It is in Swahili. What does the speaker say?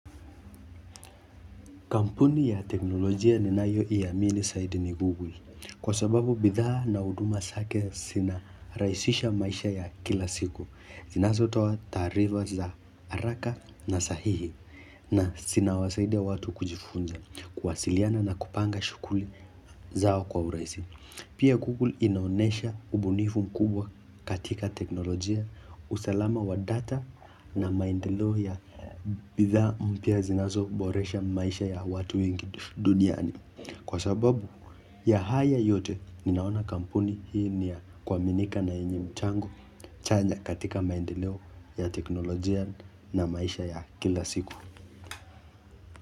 Kampuni ya teknolojia ni nayoiamini zaidi ni Google kwa sababu bidhaa na huduma zake zinarahisisha maisha ya kila siku. Zinazotoa taarifa za haraka na sahihi na zinawasaidia watu kujifunza kuwasiliana na kupanga shughuli zao kwa urahisi. Pia Google inaonesha ubunifu mkubwa katika teknolojia, usalama wa data na maendeleo ya bidhaa mpya zinazoboresha maisha ya watu wengi duniani. Kwa sababu ya haya yote ninaona kampuni hii ni ya kuaminika na yenye mchango chanya katika maendeleo ya teknolojia na maisha ya kila siku.